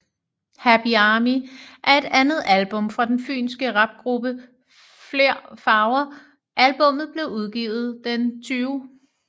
Happy Army er det andet album fra den fynske rapgruppe Fler Farver Albummet blev udgivet den 20